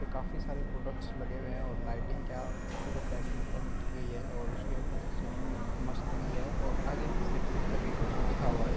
ये काफ़ी सारे प्रोडक्ट्स लगे हुए हैं और लाइटिंग क्या खुबसूरत लाइटिंग ऊपर में की गयी है और उसके ऊपर से सीलिंग मस्त लगी है और आगे में सिप - सिप करके कुछ लिखा हुआ है।